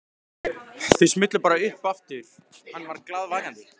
Þau smullu bara upp aftur hann var glaðvakandi.